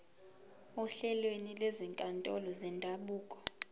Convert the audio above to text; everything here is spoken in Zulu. ohlelweni lwezinkantolo zendabuko